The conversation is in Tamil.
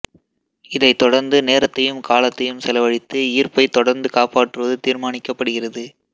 இதைத் தொடர்ந்து நேரத்தையும் காலத்தையும் செலவழித்து ஈர்ப்பை தொடர்ந்து காப்பாற்றுவது தீர்மானிக்கப்படுகிறது